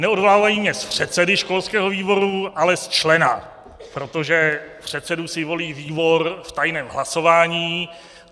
Neodvolávají mě z předsedy školského výboru, ale z člena, protože předsedu si volí výbor v tajném hlasování.